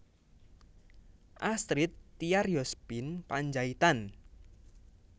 Astrid Tiar Yosephine Panjaitan